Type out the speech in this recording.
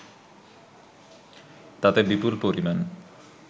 তাতে বিপুল পরিমাণ